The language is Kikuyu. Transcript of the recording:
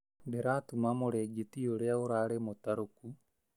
Ndĩratuma mũrĩngĩti ũrĩa ũrarĩ mũtarũku